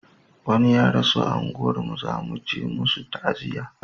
wani ya rasu a unguwar mu za muje musu ta'aziya